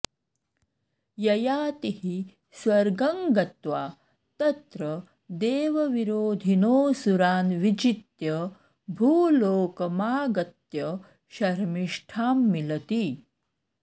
ययातिः स्वर्गं गत्वा तत्र देवविरोधिनोऽसुरान् विजित्य भूलोकमागत्य शर्मिष्ठां मिलति